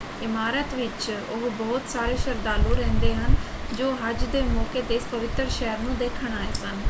ਇਮਾਰਤ ਵਿੱਚ ਉਹ ਬਹੁਤ ਸਾਰੇ ਸ਼ਰਧਾਲੂ ਰਹਿੰਦੇ ਹਨ ਜੋ ਹਜ ਦੇ ਮੌਕੇ ‘ਤੇ ਇਸ ਪਵਿੱਤਰ ਸ਼ਹਿਰ ਨੂੰ ਦੇਖਣ ਆਏ ਸਨ।